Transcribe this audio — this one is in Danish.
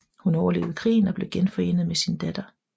Hun overlevede krigen og blev genforenet med sin datter